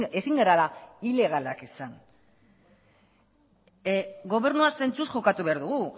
ezin garela ilegalak izan gobernua zentzuz jokatu behar dugu